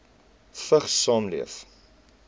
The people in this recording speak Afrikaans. vigs saamleef